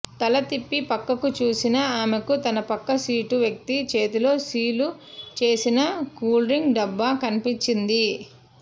తల తిప్పి పక్కకు చూసిన ఆమెకు తన పక్క సీటు వ్యక్తి చేతిలో సీలు చేసిన కూల్డ్రింక్ డబ్బా కనిపించింది